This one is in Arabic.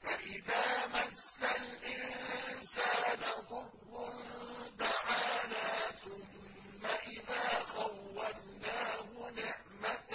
فَإِذَا مَسَّ الْإِنسَانَ ضُرٌّ دَعَانَا ثُمَّ إِذَا خَوَّلْنَاهُ نِعْمَةً